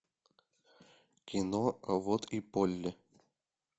кино а вот и полли